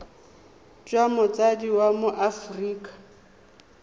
jwa motsadi wa mo aforika